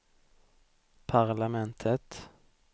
parlamentet